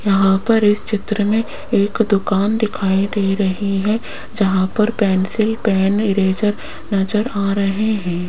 यहां पर इस चित्र में एक दुकान दिखाई दे रही है जहां पर पेंसिल पेन इरेजर नजर आ रहे है।